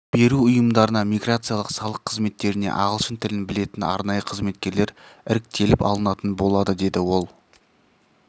беру ұйымдарына миграциялық салық қызметтеріне ағылшын тілін білетін арнайы қызметкерлер іріктеліп алынатын болады деді ол